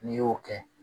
N'i y'o kɛ